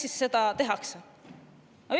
Miks seda tehakse?